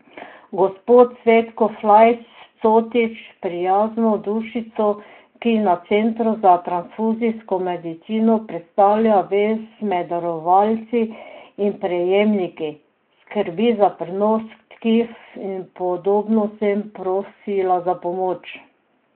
Gospo Cvetko Flajs Cotič, prijazno dušico, ki na Centru za transfuzijsko medicino predstavlja vez med darovalci in prejemniki, skrbi za prenos tkiv in podobno, sem prosila za pomoč.